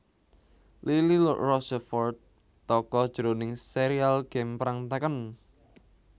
Lili Rochefort tokoh jroning sérial game perang Tekken